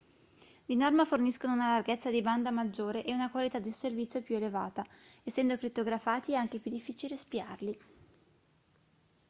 di norma forniscono una larghezza di banda maggiore e una qualità del servizio più elevata essendo crittografati è anche più difficile spiarli